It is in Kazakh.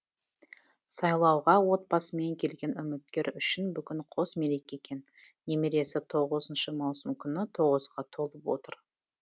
сайлауға отбасымен келген үміткер үшін бүгін қос мереке екен немересі тоғызыншы маусым күні тоғызға толып отыр